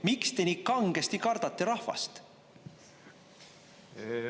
Miks te nii kangesti kardate rahvast?